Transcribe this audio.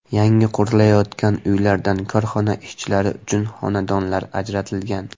Yangi qurilayotgan uylardan korxona ishchilari uchun xonadonlar ajratilgan.